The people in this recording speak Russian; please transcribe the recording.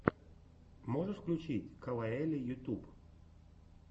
можешь включить кавайэлли ютюб